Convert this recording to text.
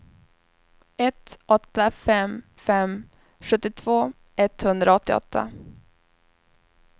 ett åtta fem fem sjuttiotvå etthundraåttioåtta